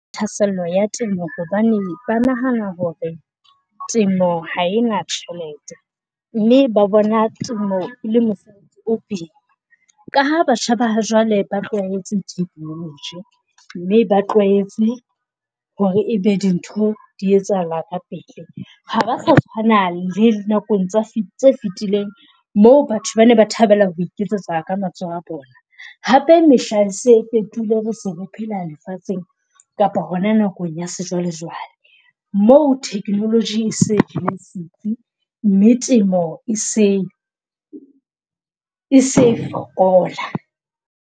Thahasello ya temo hobane ba nahana hore temo ha ena tjhelete, mme ba bona temo ele ka ha batjha ba jwale ba tleaetse technology. Mme ba tlwaetse hore ebe dintho di etsahala ka pele. Ha ba sa tshwana le nakong tse fitileng moo batho bane ba thabela ho iketsetsa ka matsoho a bona. Hape mehla e se fetuhile sere phela lefatsheng kapa hona nakong ya sejwalejwale. Mo technology e se mme temo e se a fokola.